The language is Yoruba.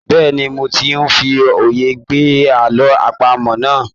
Bẹ́ẹ̀ni, mo ti ń fi òye gbé àlọ́ àpamọ̀ náà.